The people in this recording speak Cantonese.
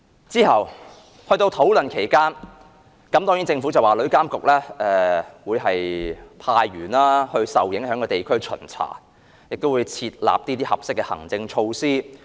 在討論期間，政府說旅監局會派員到受影響地區巡查，亦會制訂合適的行政措施。